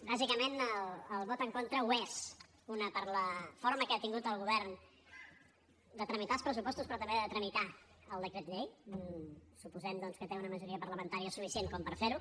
bàsicament el vot en contra ho és una per la forma que ha tingut el govern de tramitar els pressupostos però també de tramitar el decret llei suposem doncs que té una majoria parlamentària suficient com per fer ho